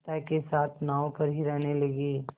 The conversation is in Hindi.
पिता के साथ नाव पर ही रहने लगी